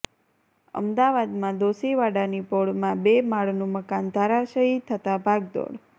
અમદાવાદમાં દોશીવાડાની પોળમાં બે માળનું મકાન ધરાશાયી થતાં ભાગદોડ